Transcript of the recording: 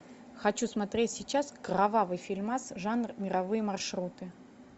хочу смотреть сейчас кровавый фильмас жанр мировые маршруты